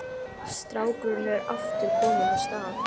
Strákurinn er aftur kominn af stað.